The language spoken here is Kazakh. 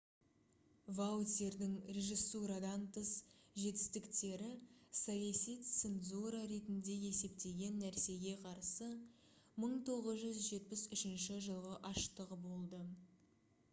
ваутьердің режиссурадан тыс жетістіктері саяси цензура ретінде есептеген нәрсеге қарсы 1973 жылғы аштығы болды